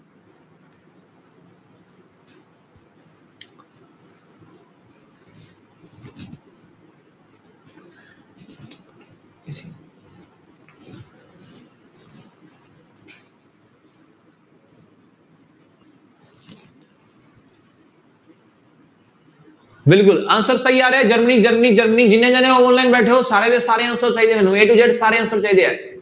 ਬਿਲਕੁਲ answer ਸਹੀ ਆ ਰਿਹਾ ਜਰਮਨੀ ਜਰਮਨੀ ਜਰਮਨੀ ਜਿੰਨੇ ਜਾਣੇ online ਬੈਠੇ ਹੋ ਸਾਰੇ ਦੇ ਸਾਰੇ answer ਚਾਹੀਦੇ ਹੈ ਮੈਨੂੰ a to z ਸਾਰੇ answer ਚਾਹੀਦੇ ਹੈ।